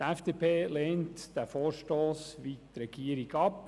Die FDP lehnt wie die Regierung den Vorstoss ab.